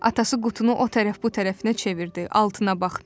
Atası qutunu o tərəf-bu tərəfinə çevirdi, altına baxdı.